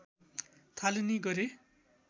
थालनी गरे